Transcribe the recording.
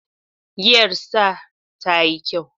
Giyar star tayi kyau